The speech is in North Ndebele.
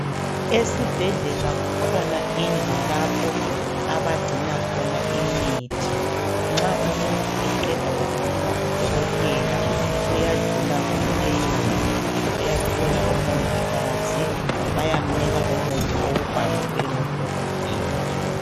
Esibhedlela kukhona indlu lapho abagcina khona imithi. Nxa umuntu eqeda ukuphuma kudokotela, uyadlula kuleyondlu, uyathola omongikazi, bayamnika umuthi owubhalelwe ngudokotela.